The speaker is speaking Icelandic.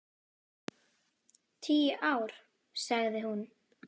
Tíu ár, sagði hún.